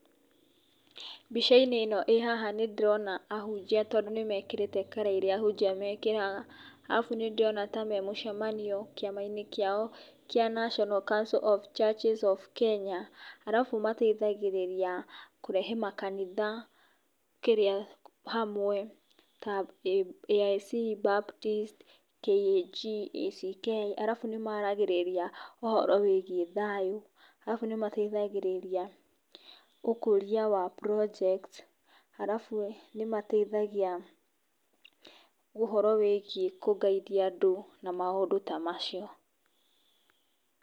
Mbicainĩ ĩno ĩhaha nĩ ndĩrona ahujia tondũ nĩmekĩrĩte kara iria ahujia mekĩraga, arabu nĩ ndĩrona memũcemanio kĩama-inĩ kĩao kĩa National Council of Churches of Kenya, arabu mateithagĩrĩria kũrehe makanitha hamwe ta AIC, Baptist, KAG ,ACK, arabu nĩmaragĩrĩria thayũ, arabu nĩ mateithagĩrĩria ũkũria wa projects, arabu nĩmateithagia ũhoro wĩgiĩ kũ guide andũ, na maũndũ ta macio.